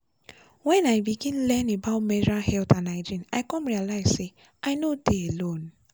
when i begin learn about menstrual health and hygiene i come realize say i no dey alone.